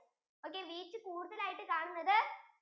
okay wheat കൂടുതലായിട്ട് കാണുന്നത്